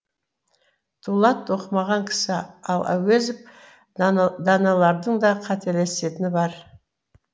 дулат оқымаған кісі ал әуезов даналардың да қателесетіні бар